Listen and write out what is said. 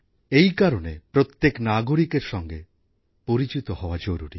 এই কারণে প্রত্যেক নাগরিকের এর সাথে পরিচিত হওয়া জরুরী